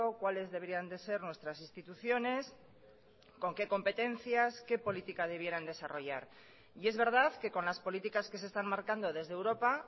cuáles deberían de ser nuestras instituciones con qué competencias qué política debieran desarrollar y es verdad que con las políticas que se están marcando desde europa